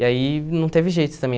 E aí não teve jeito também.